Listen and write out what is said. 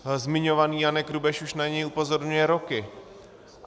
Zmiňovaný Janek Rubeš už na něj upozorňuje roky.